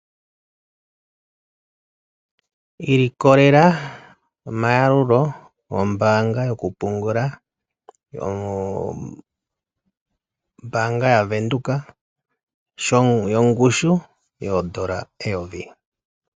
Ilikolela omayalulo gombaanga yokupungula. Ombaanga yavenduka, yongushu yoondola eyovi.